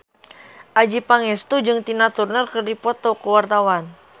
Adjie Pangestu jeung Tina Turner keur dipoto ku wartawan